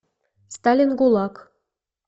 сталин гулаг